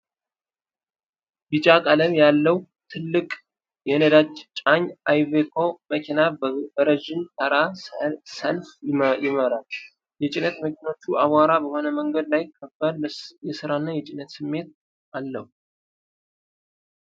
ቢጫ ቀለም ያለው ትልቅ የነዳጅ ጫኝ አይቬኮ መኪና በረጅም ተራ ሰልፍ ይመራል። የጭነት መኪኖቹ አቧራማ በሆነ መንገድ ላይ ከባድ የሥራና የብስጭት ስሜት አለው።